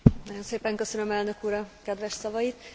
Nagyon szépen köszönöm, elnök, úr a kedves szavait!